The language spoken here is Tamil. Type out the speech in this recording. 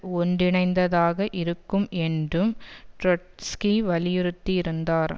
ஒன்றிணைந்ததாக இருக்கும் என்றும் ட்ரொட்ஸ்கி வலியுறுத்தியிருந்தார்